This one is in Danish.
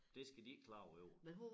Det skal de helt klart have jo